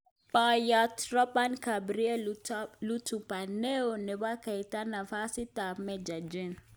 Poiyot Robert Gabriel Luthumbk neo nepo Geita nafasit ap Meja jen